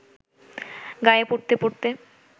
গায়ে পরতে পরতে